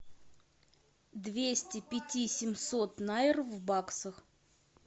двести пяти семьсот найр в баксах